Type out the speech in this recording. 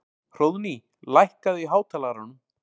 Hróðný, lækkaðu í hátalaranum.